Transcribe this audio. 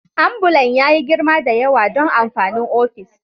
Ambulan ya yi girma da yawa don amfanin ofis